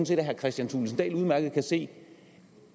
set at herre kristian thulesen dahl udmærket kan se